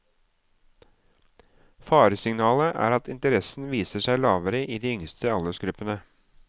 Faresignalet er at interessen viser seg lavere i de yngste aldersgruppene.